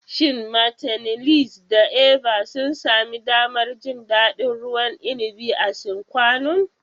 Shin "Martineliss" da "Eva" sun sami damar jin daɗin ruwan inabi a Sine Qua Non?